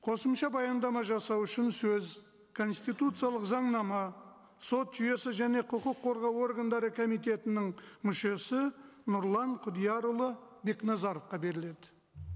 қосымша баяндама жасау үшін сөз конституциялық заңнама сот жүйесі және құқық қорғау органдары комитетінің мүшесі нұрлан құдиярұлы бекназаровқа беріледі